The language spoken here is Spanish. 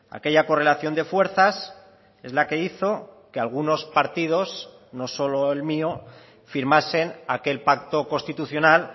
aquella correlación de fuerzas es la que hizo que algunos partidos no solo el mío firmasen aquel pacto constitucional